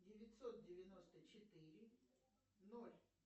девятьсот девяносто четыре ноль